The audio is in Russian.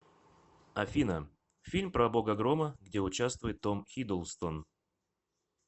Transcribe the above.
афина фильм про бога грома где участвует том хиддлстон